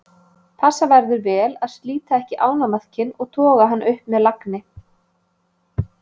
Passa verður vel að slíta ekki ánamaðkinn og toga hann upp með lagni.